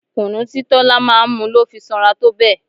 Kunu tí Tola máa ń mu ló fi sanra tó bẹ́ẹ̀.